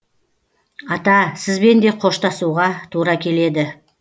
ата сізбен де қоштасуға тура келеді